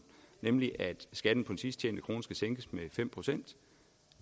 nemlig at skatten på sidst tjente krone skal sænkes med fem procent